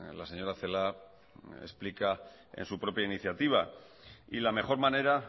la señora celaá explica en su propia iniciativa y la mejor manera